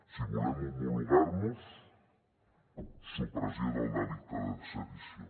si volem homologar nos supressió del delicte de sedició